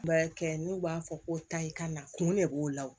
Baarakɛ n'u b'a fɔ ko tayi ka na kun de b'o la wo